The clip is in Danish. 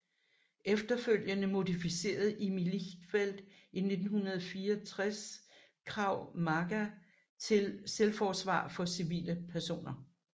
Efterfølgende modificerede Imi Lichtenfeld i 1964 Krav Maga til selvforsvar for civile personer